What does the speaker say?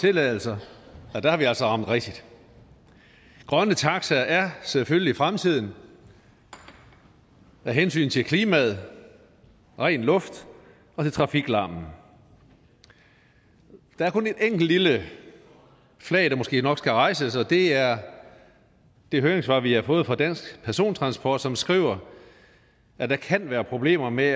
tilladelser har vi altså ramt rigtigt grønne taxaer er selvfølgelig fremtiden af hensyn til klima ren luft og trafiklarm der er kun et enkelt lille flag der måske nok skal hejses og det er det høringssvar vi har fået fra dansk persontransport som skriver at der kan være problemer med